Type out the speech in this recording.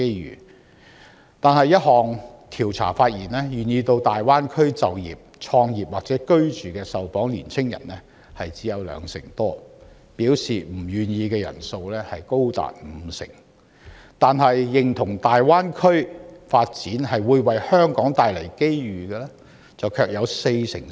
然而，一項調查發現，願意到大灣區就業、創業或居住的受訪青年人只有兩成多，表示不願意的人數高達五成，但認同大灣區發展會為香港帶來機遇的受訪者卻有四成四。